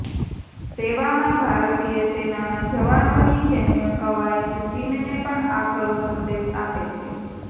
તેવામાં ભારતીય સેનાના જવાનોની સૈન્ય કવાયત ચીનને પણ આકરો સંદેશ આપે છે